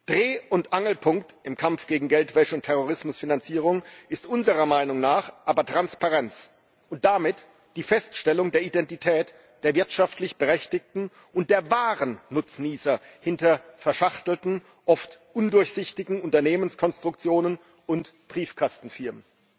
Dreh und Angelpunkt im Kampf gegen Geldwäsche und Terrorismusfinanzierung ist unserer Meinung nach aber Transparenz und damit die Feststellung der Identität der wirtschaftlich Berechtigten und der wahren Nutznießer hinter verschachtelten, oft undurchsichtigen Unternehmenskonstruktionen und Briefkastenfirmen.